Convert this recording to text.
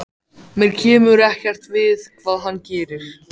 Mér kemur ekkert við hvað hann gerir.